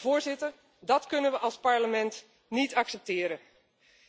Voorzitter, dat kunnen we als Parlement niet accepteren.